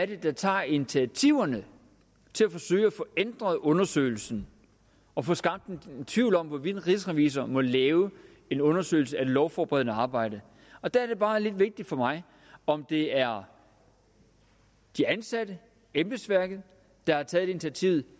det er der tager initiativerne til at forsøge at få ændret undersøgelsen og få skabt en tvivl om hvorvidt rigsrevisor må lave en undersøgelse af det lovforberedende arbejde og der er det bare lidt vigtigt for mig om det er de ansatte embedsværket der har taget initiativet